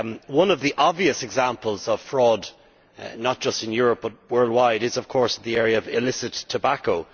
One of the obvious examples of fraud, not just in Europe but worldwide, is of course the area of illicit tobacco.